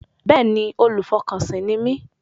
Bẹ́ẹ̀ni, olùfọkànsìn ni mí